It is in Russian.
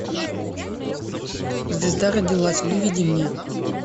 звезда родилась выведи мне